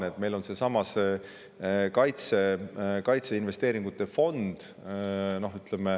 Nimelt, meil on kaitseinvesteeringute fond.